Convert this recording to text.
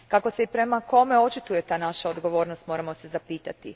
Kako se i prema kome očituje ta naša odgovornost moramo se zapitati.